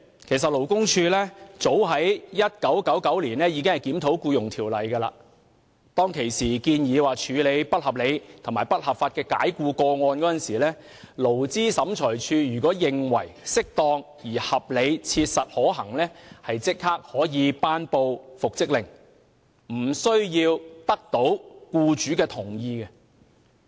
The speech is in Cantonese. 其實，勞工處早在1999年已經檢討《僱傭條例》，當時的建議是，在處理不合理及不合法解僱的個案時，勞資審裁處如認為適當而合理切實可行，即可頒布復職令，無須取得僱主同意。